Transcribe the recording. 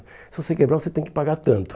Se você quebrar, você tem que pagar tanto.